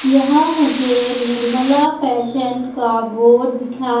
यहां मुझे निर्मला फैशन का बोर्ड दिखा --